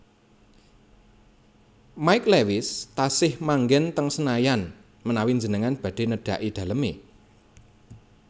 Mike Lewis tasih manggen teng Senayan menawi njenengan badhe nedhaki daleme